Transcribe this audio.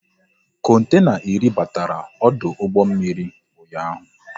Kontena iri batara ọdụ ụgbọ mmiri ụnyaahụ